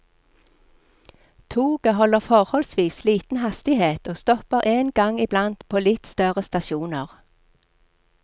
Toget holder forholdsvis liten hastighet og stopper en gang i blant på litt større stasjoner.